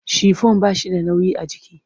Shifon ba shi da nauyi a jiki.